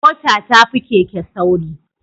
Mota tafi Keke sauri